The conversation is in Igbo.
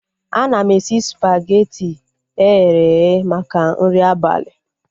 Ana m esi spageti eghere eghe maka nri abalị